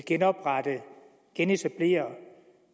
genetablere